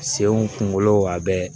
Senw kungolo a bɛ